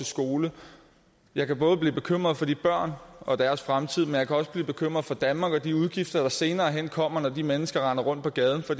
skole jeg kan både blive bekymret for de børn og deres fremtid men også blive bekymret for danmark og de udgifter der senere hen kommer når de mennesker render rundt på gaden for